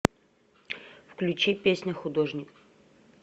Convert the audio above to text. включи песня художник